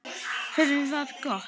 Veðrið var gott.